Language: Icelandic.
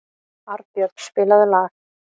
Arnbjörn, spilaðu lag.